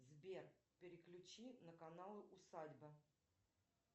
сбер переключи на канал усадьба